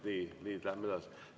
Nii, nüüd läheme edasi.